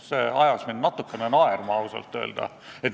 See ajas mind ausalt öeldes natukene naerma.